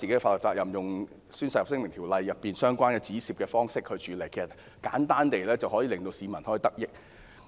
當局可採用《宣誓及聲明條例》中相關的方式處理，令市民得益。